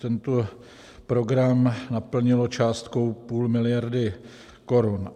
Tento program naplnilo částkou půl miliardy korun.